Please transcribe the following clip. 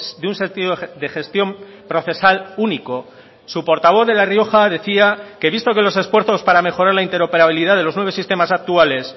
de un sentido de gestión procesal único su portavoz de la rioja decía que visto que los esfuerzos para mejorar la interoperabilidad de los nueve sistemas actuales